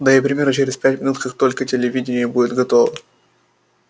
да и примерно через пять минут как только телевидение будет готово